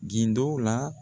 Gindo la.